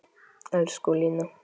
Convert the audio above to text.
Elsku Lína.